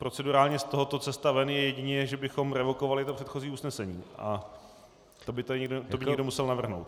Procedurálně z tohoto cesta ven je jedině, že bychom revokovali to předchozí usnesení, a to by to někdo musel navrhnout.